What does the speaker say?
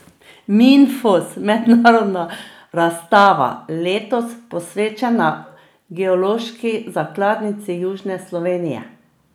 Minfos, mednarodna razstava, letos posvečena geološki zakladnici južne Slovenije.